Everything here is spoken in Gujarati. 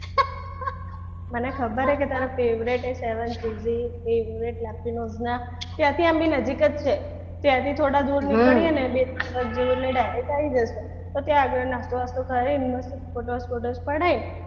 મને ખબર છે કે તારા favorite saven chizzy પણ આપી નોંધ ના ક્યાં છે એમ બી નજીક જ છે ત્યાંથી થોડા દૂર નીકળી અને બે ત્રણ વધ જેટલું એટલે direct આવી જાય તો ત્યાં આગળ નાસ્તો બાસ્તો કરીન photos બોતોસ પડાઈન